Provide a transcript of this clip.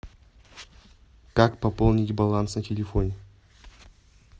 как пополнить баланс на телефоне